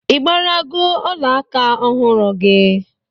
Ị gbarago ọla aka ọhụrụ gị?